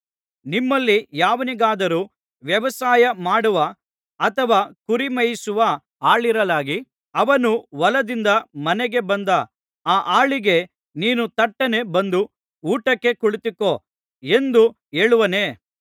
ನಿಮ್ಮಲ್ಲಿ ಯಾವನಿಗಾದರೂ ವ್ಯವಸಾಯ ಮಾಡುವ ಅಥವಾ ಕುರಿಮೇಯಿಸುವ ಆಳಿರಲಾಗಿ ಅವನು ಹೊಲದಿಂದ ಮನೆಗೆ ಬಂದ ಆ ಆಳಿಗೆ ನೀನು ತಟ್ಟನೆ ಬಂದು ಊಟಕ್ಕೆ ಕುಳಿತುಕೋ ಎಂದು ಹೇಳುವನೇ